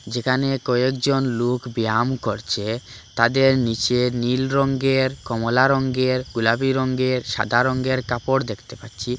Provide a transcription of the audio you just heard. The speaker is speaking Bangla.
যেখানে কয়েকজন লোক ব্যায়াম করছে তাদের নীচে নীল রঙ্গের কমলা রঙ্গের গোলাপী রঙ্গের সাদা রঙ্গের কাপড় দেখতে পাচ্ছি।